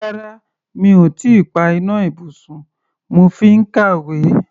Rárá, mi ò tí ì pa iná ibùsùn, mo fi ń kàwé.